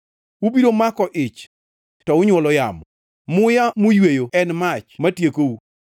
Ubiro mako ich to unywolo yamo; muya muyweyo en mach ma tiekou.